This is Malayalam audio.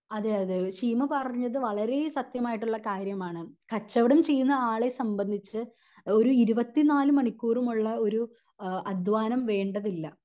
അതെ അതെ ശീമ പറഞ്ഞത് വളരേ സത്യമായിട്ടുള്ള കാര്യം ആണ് കച്ചവടം ചെയ്യുന്ന ആളെ സംബന്ധിച്ച് ഒരു ഇരുപത്തി നാല് മണിക്കൂറും ഉള്ള ഒരു എഹ് അധ്വാനം വേണ്ടതില്ല